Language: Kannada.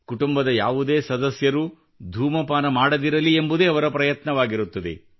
ಕುಟುಂಬದ ಯಾವುದೇ ಸದಸ್ಯರು ಧೂಮಪಾನ ಮಾಡದಿರಲಿ ಎಂಬುದೇ ಅವರ ಪ್ರಯತ್ನವಾಗಿರುತ್ತದೆ